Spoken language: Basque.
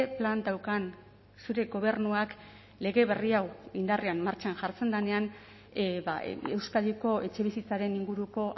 plan daukan zure gobernuak lege berri hau indarrean martxan jartzen denean euskadiko etxebizitzaren inguruko